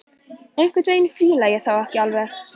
Einhvern veginn fíla ég þá ekki alveg.